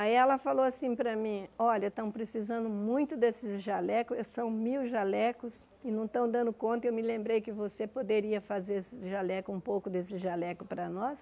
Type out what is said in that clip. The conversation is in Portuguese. Aí ela falou assim para mim, olha, estão precisando muito desses jalecos, são mil jalecos e não estão dando conta e eu me lembrei que você poderia fazer esses jalecos um pouco desses jalecos para nós.